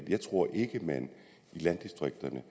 jeg tror ikke at man i landdistrikterne